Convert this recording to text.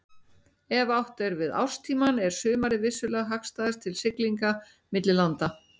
Ef átt er við árstímann er sumarið vissulega hagstæðast til siglinga milli landa.